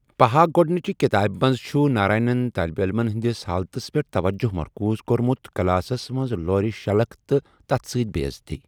پہآ گوٚڈنِچہِ کِتابہِ منز چھُ ناراینن طالب علمن ہندِس حالتس پیٹھ توجہٕ مرکوٗز کورمُت ، کلاسس منز لورِ شلکھ تہٕ تتھ سۭتۍ بےٚ عزتۍ ۔